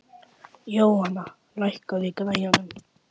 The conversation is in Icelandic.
Jóhanna, lækkaðu í græjunum.